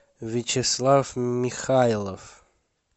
вячеслав михайлов